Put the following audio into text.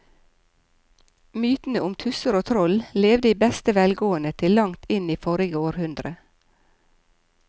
Mytene om tusser og troll levde i beste velgående til langt inn i forrige århundre.